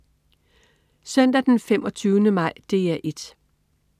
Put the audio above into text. Søndag den 25. maj - DR 1: